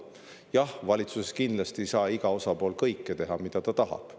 Jah, valitsuses ei saa ükski osapool kindlasti teha kõike, mida ta tahab.